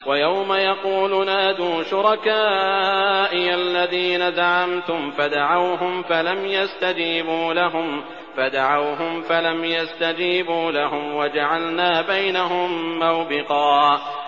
وَيَوْمَ يَقُولُ نَادُوا شُرَكَائِيَ الَّذِينَ زَعَمْتُمْ فَدَعَوْهُمْ فَلَمْ يَسْتَجِيبُوا لَهُمْ وَجَعَلْنَا بَيْنَهُم مَّوْبِقًا